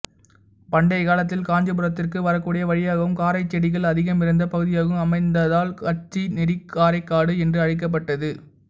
பண்டைய காலத்தில் காஞ்சிபுரத்திற்கு வரக்கூடிய வழியாகவும் காரைச் செடிகள் அதிகமிருந்த பகுதியாகவும் அமைந்ததால் கச்சிநெறிக்காரைக்காடு என்று அழைக்கப்பட்டது